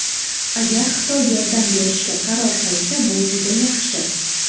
Agar Xitoy yordam berishga qaror qilsa, bu juda yaxshi.